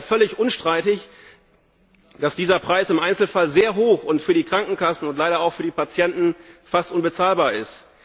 Es ist ja völlig unstreitig, dass dieser Preis im Einzelfall sehr hoch und für die Krankenkassen und leider auch für die Patienten fast unbezahlbar ist.